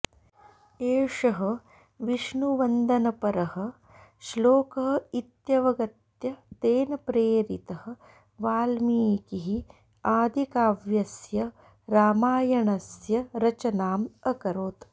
एषः विष्णुवन्दनपरः श्लोकः इत्यवगत्य तेन प्रेरितः वाल्मीकिः आदिकाव्यस्य रामायणस्य रचनाम् अकरोत्